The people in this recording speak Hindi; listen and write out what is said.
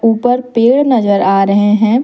ऊपर पेड़ नजर आ रहे हैं।